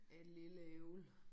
Et lille æble